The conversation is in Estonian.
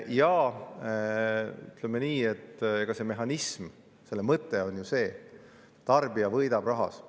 Ja ütleme nii, et selle mehhanismi mõte on ju see, et tarbija võidab rahas.